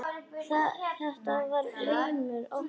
Þetta var heimur óttans.